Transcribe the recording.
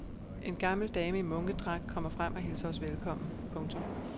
En gammel dame i munkedragt kommer frem og hilser os velkommen. punktum